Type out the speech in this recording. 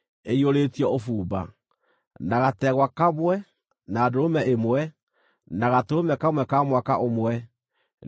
na gategwa kamwe, na ndũrũme ĩmwe, na gatũrũme kamwe ka mwaka ũmwe, nĩ ũndũ wa iruta rĩa njino;